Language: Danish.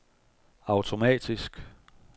automatisk